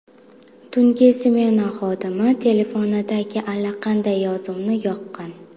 Tungi smena xodimi telefonidagi allaqanday yozuvni yoqqan.